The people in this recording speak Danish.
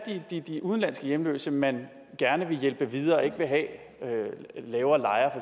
de udenlandske hjemløse man gerne vil hjælpe videre og ikke vil have laver lejre